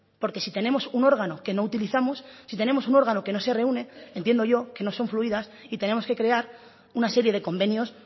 porque si tenemos un órgano que no utilizamos si tenemos un órgano que no se reúne entiendo yo que no son fluidas y tenemos que crear una serie de convenios